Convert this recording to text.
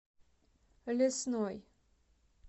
лесной